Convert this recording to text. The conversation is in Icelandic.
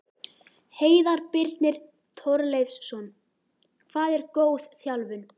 Heiðar Birnir Torleifsson Hvað er góð þjálfun?